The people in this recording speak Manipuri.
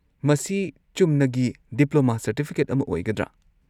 ꯃꯁꯤ ꯆꯨꯝꯅꯒꯤ ꯗꯤꯄ꯭ꯂꯣꯃꯥ ꯁꯔꯇꯤꯐꯤꯀꯦꯠ ꯑꯃ ꯑꯣꯏꯒꯗ꯭ꯔꯥꯥ?